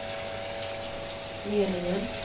meningen